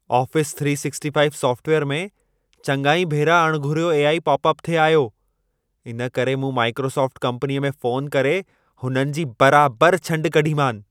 Office 365 software में चङा ई भेरा अणघुरियो ए.आई. पोपअप थिए आयो। इन करे मूं माइक्रोसोफ़्ट कम्पनीअ में फ़ोन करे हुननि जी बराबर छंड कढीमानि।